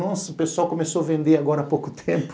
Nossa, o pessoal começou a vender agora há pouco tempo.